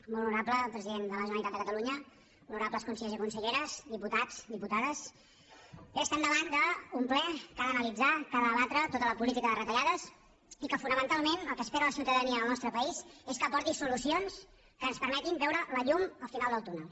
molt honorable president de la generalitat de catalunya honorables consellers i conselleres diputats diputades bé estem davant d’un ple que ha d’analitzar que ha de debatre tota la política de retallades i que fonamentalment el que espera la ciutadania del nostre país és que aporti solucions que ens permetin veure la llum al final del túnel